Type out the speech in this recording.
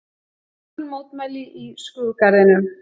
Þögul mótmæli í skrúðgarðinum